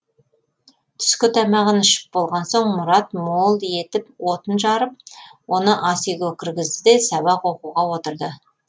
түскі тамағын ішіп болған соң мұрат мол етіп отын жарып оны ас үйге кіргізді де сабақ оқуға отырды